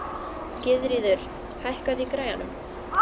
Gyðríður, hækkaðu í græjunum.